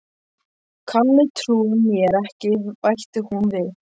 Kalli trúir mér ekki bætti hún við.